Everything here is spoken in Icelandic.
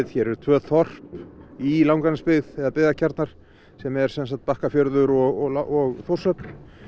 hér eru tvö þorp í Langanesbyggð eða byggðakjarnar sem er sem sagt Bakkafjörður og og Þórshöfn